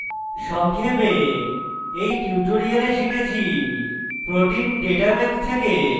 সংক্ষেপে in tutorial শিখেছি: